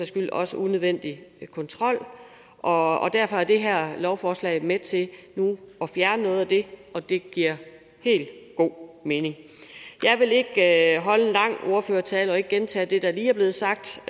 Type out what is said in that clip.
skyld også unødvendig kontrol og derfor er det her lovforslag nu med til at fjerne noget af det og det giver helt god mening jeg holde en lang ordførertale og ikke gentage det der lige er blevet sagt